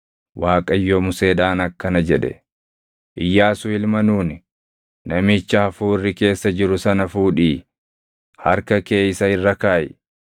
Waaqayyo Museedhaan akkana jedhe; “Iyyaasuu ilma Nuuni, namicha hafuurri keessa jiru sana fuudhii harka kee isa irra kaaʼi.